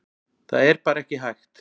Það er bara ekki hægt